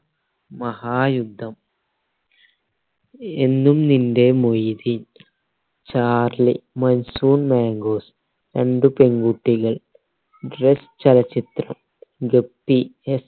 മഹായുദ്ധം എന്നും നിന്റെ Moideen Charlie monsoon mangoes രണ്ട് പെൺകുട്ടികൾ ഡ്രസ്സ് ചലച്ചിത്രം ഗപ്പി